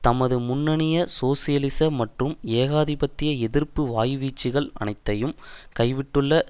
தமது முன்னைய சோசியலிச மற்றும் ஏகாதிபத்திய எதிர்ப்பு வாய்வீச்சுக்கள் அனைத்தையும் கைவிட்டுள்ள